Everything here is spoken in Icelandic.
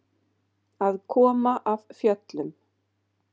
Að koma af fjöllum